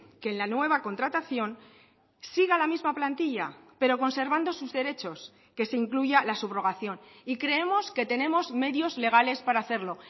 que en la nueva contratación siga la misma plantilla pero conservando sus derechos que se incluya la subrogación y creemos que tenemos medios legales para hacerlo